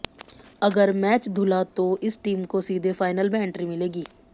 अगर मैच धुला तो इस टीम को सीधे फाइनल में एंट्री मिलेगी